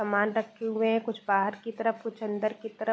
समान रखे हुए हैं कुछ बाहर की तरफ कुछ अंदर की तरफ।